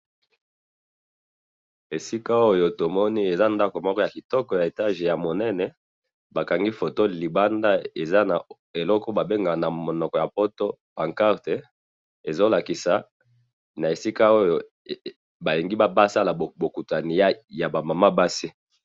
esika oyo tomoni eza ndako moko ya kitoko ya étage ya monene, ba kangi photo libanda eza na eloko oyo ba bengeka na monoko ya poto pancarte, ezo lakisa, na esika oyo balingi ba sala bokutani ya ba maman basi